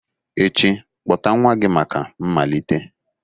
echi, kpọta nwa gị maka mmalite!